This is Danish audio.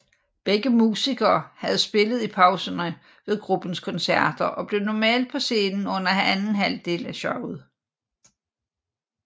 Begge musikere havde spillet i pauserne ved gruppens koncerter og blev normalt på scenen under anden halvdel af showet